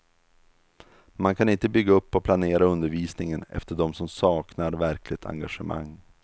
Man kan inte bygga upp och planera undervisningen efter dem som saknar verkligt engagemang.